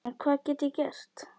En hvað get ég gert?